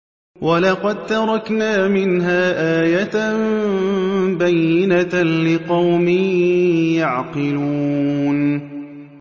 وَلَقَد تَّرَكْنَا مِنْهَا آيَةً بَيِّنَةً لِّقَوْمٍ يَعْقِلُونَ